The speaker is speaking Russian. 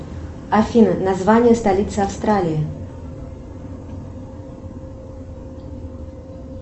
афина название столицы австралии